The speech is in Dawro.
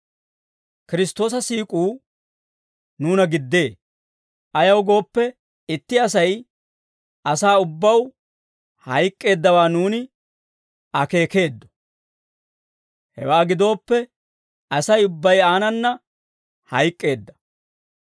Kiristtoosa siik'uu nuuna giddee; ayaw gooppe, itti Asay asaa ubbaw hayk'k'eeddawaa nuuni akeekeeddo; hewaa gidooppe Asay ubbay aanana hayk'k'eedda.